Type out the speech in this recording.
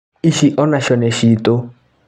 Ici onacio nĩ citũ.